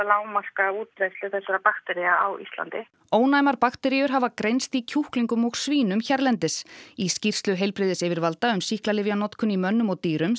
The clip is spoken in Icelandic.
lágmarka útbreiðslu þessara baktería á Íslandi ónæmar bakteríur hafa greinst í kjúklingum og svínum hérlendis í skýrslu heilbrigðisyfirvalda um sýklalyfjanotkun í mönnum og dýrum